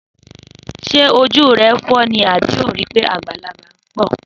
Sẹ òjú rẹ fọ ní, àbí ó rì pẹ àgbàlàgbà ḿbọ?